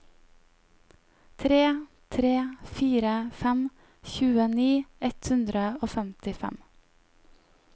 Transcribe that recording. tre tre fire fem tjueni ett hundre og femtifem